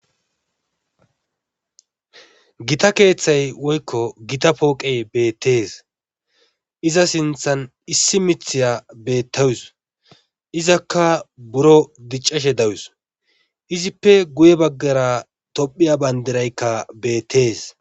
Gita keethay woykko gita pooqe beettes iza sinthan issi mithiya beettawus izaka buro diccashe dawus izippe guye baggara toophphiya banddirayka beettes.